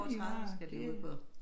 Over 30 skal de ud på